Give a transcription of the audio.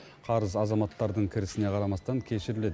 қарыз азаматтардың кірісіне қарамастан кешіріледі